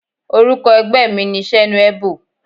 Orúkọ ẹgbẹ́ mi ni Senuebo.